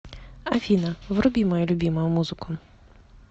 афина вруби мою любимую музыку